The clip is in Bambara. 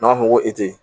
N'a fɔ ko e te yen